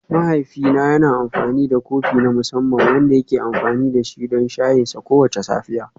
Mahaifina yana da kofi na musamman wanda yake amfani da shi don shayinsa kowace safiya.